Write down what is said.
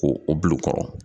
Ko o bil'u kɔrɔ